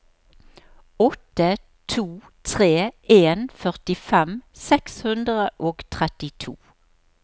åtte to tre en førtifem seks hundre og trettito